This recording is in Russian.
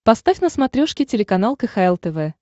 поставь на смотрешке телеканал кхл тв